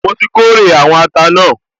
Mo ti kórè àwọn ata náà